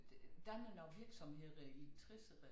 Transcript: Dannet nogle virksomheder i æ tressere